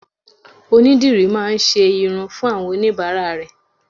Onídìrí má a ńṣe irun fún àwọn oníbàárà rè